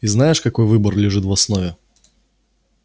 и знаешь какой выбор лежит в основе